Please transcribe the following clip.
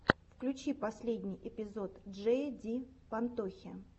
включи последний эпизод джея ди пантохи